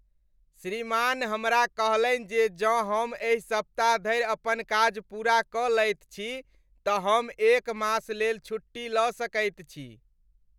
श्रीमान हमरा कहलनि जे जौं हम एहि सप्ताह धरि अपन काज पूरा कऽ लैत छी तऽ हम एक मास लेल छुट्टी लऽ सकैत छी!